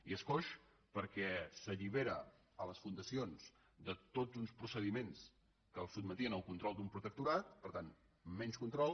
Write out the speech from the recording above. i és coix perquè s’allibera a les fundacions de tots uns proce·diments que els sotmetien al control d’un protectorat per tant amb menys control